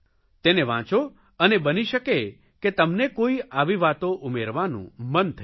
તેને વાંચો અને બની શકે કે તમને કોઇ આવી વાતો ઉમેરવાનું મન થઇ જાય